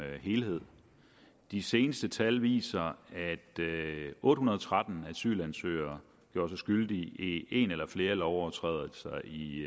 helhed de seneste tal viser at otte hundrede og tretten asylansøgere gjorde sig skyldige i en eller flere lovovertrædelser i